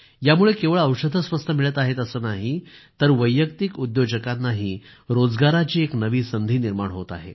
यामुळे केवळ औषधं स्वस्त मिळत आहेत असं नाही तर वैयक्तिक उद्योजकांनाही रोजगाराची एक नवी संधी निर्माण होत आहे